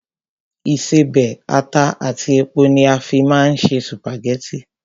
Ìṣebẹ̀, ata àti epo ni a fín máa ń se sùpàgẹ́tì